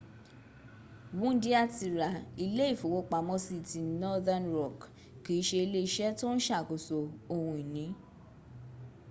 wúndíá ti ra ilé ìfowópamọ́sí” ti northern rock kì í se iléeṣẹ́ tó ń sàkóso ohun ìní